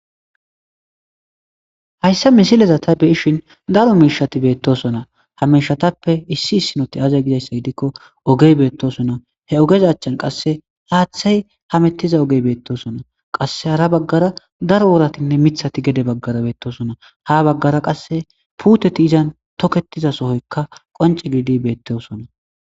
Hayssa misileza ta beishin daro miishati beettosona hamishatappe issi issinoti aze gidayssay dikko ogey beettosona he ogez achchan qasse haaththay hamettiza ogey beettosona qasse hara baggara darworatinne mithati gede baggara beettosona ha baggara qasse puuteti izan toketiza sohoykka qonce giidi beettosona.